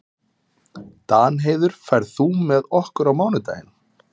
Danheiður, ferð þú með okkur á mánudaginn?